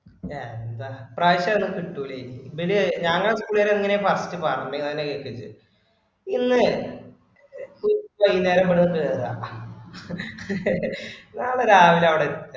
എന്താ ഇപ്പ്രാശ്യത് കിട്ടൂല്ല ഇനി ഇവര് ഞങ്ങപുള്ളേര് എങ്ങനെയാ first പറഞ്ഞെന്ന്തന്നെ കേക്ക് ജ് ഇന്ന് ഉ വൈന്നേരം ഇവിടന്ന് കേറുവ നാള രാവില അവിട എ